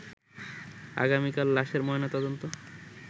আগামীকাল লাশের ময়না তদন্ত